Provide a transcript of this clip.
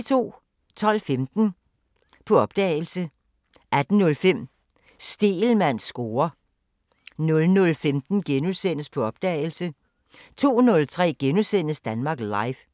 12:15: På opdagelse 18:05: Stegelmanns score 00:15: På opdagelse * 02:03: Danmark Live *